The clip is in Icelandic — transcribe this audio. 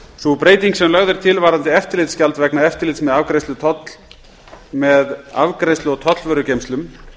sú breyting sem lögð er til varðandi eftirlitsgjald vegna eftirlits með afgreiðslu og tollvörugeymslum